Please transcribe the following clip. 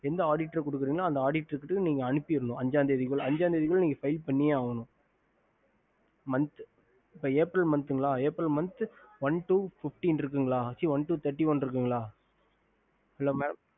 எந்த auditor குடுக்குறீங்களோ அந்த auditor அஞ்ச தேதி குள்ள அனுப்பினும் இப்போ april one to thirty one இருக்குங்க